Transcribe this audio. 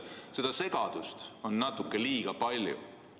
Seda segadust on natuke liiga palju.